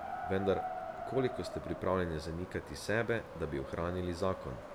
Vendar, koliko ste pripravljeni zanikati sebe, da bi ohranili zakon?